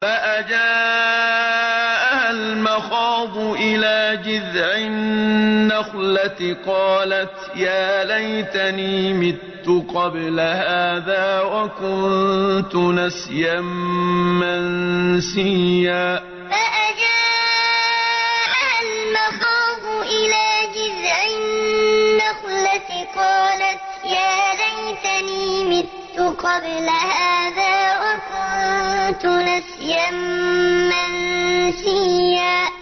فَأَجَاءَهَا الْمَخَاضُ إِلَىٰ جِذْعِ النَّخْلَةِ قَالَتْ يَا لَيْتَنِي مِتُّ قَبْلَ هَٰذَا وَكُنتُ نَسْيًا مَّنسِيًّا فَأَجَاءَهَا الْمَخَاضُ إِلَىٰ جِذْعِ النَّخْلَةِ قَالَتْ يَا لَيْتَنِي مِتُّ قَبْلَ هَٰذَا وَكُنتُ نَسْيًا مَّنسِيًّا